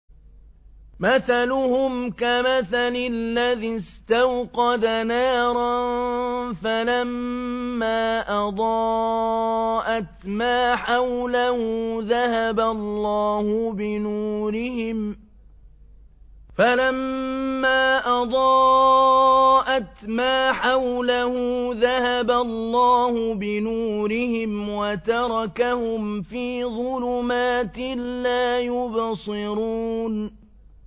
مَثَلُهُمْ كَمَثَلِ الَّذِي اسْتَوْقَدَ نَارًا فَلَمَّا أَضَاءَتْ مَا حَوْلَهُ ذَهَبَ اللَّهُ بِنُورِهِمْ وَتَرَكَهُمْ فِي ظُلُمَاتٍ لَّا يُبْصِرُونَ